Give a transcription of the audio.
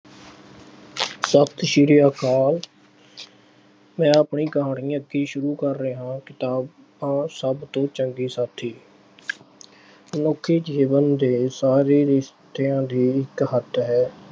ਸਤਿ ਸ੍ਰੀ ਅਕਾਲ। ਮੈਂ ਆਪਣੀ ਕਹਾਣੀ ਅੱਗੇ ਸ਼ੁਰੂ ਕਰ ਰਿਹਾ। ਕਿਤਾਬ ਆ ਸਭ ਤੋਂ ਚੰਗੇ ਸਾਥੀ। ਮਨੁੱਖੀ ਜੀਵਨ ਦੇ ਸਾਰੇ ਰਿਸ਼ਤਿਆਂ ਦੀ ਇੱਕ ਹੱਦ ਹੈ।